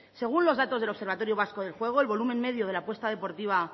según los datos del observatorio vasco del juego el volumen medio de la apuesta deportiva